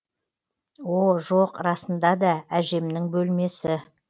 о жоқ расында да әжемнің бөлмесі